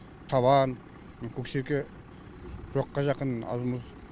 табан көксерке жоққа жақын аз мұз